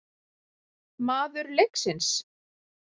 Maður leiksins?